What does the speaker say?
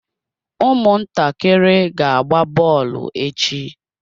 Ụmụntakịrị ga-agba bọọlụ echi.